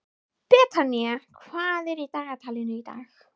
Betanía, hvað er í dagatalinu í dag?